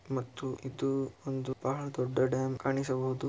ಮತ್ತು ಇದು ಒಂದು ಬಹಳ ದೊಡ್ಡ ಡ್ಯಾಂ ಕಾಣಿಸುವುದು .